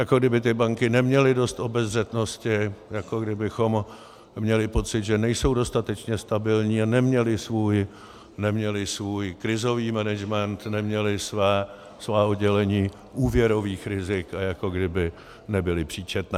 Jako kdyby ty banky neměly dost obezřetnosti, jako kdybychom měli pocit, že nejsou dostatečně stabilní a neměly svůj krizový management, neměly svá oddělení úvěrových rizik a jako kdyby nebyly příčetné.